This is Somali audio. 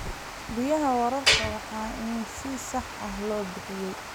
Biyaha waraabka waa in si sax ah loo bixiyaa.